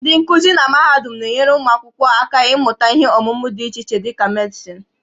Ndị nkuzi na mahadum na-enyere ụmụ akwụkwọ aka ịmụta ihe ọmụmụ dị iche iche dị ka Medịsịn